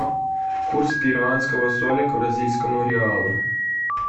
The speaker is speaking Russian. курс перуанского соля к бразильскому реалу